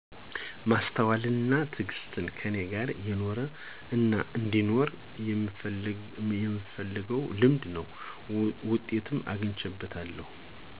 ማስተዋል አና ትግስት ከኔ ጋር የኖረ አናአንዲኖር የምፈልገው ልምድ ነው። ውጤትም አግቸበታለሁ።